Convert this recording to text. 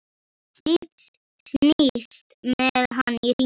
Snýst með hann í hringi.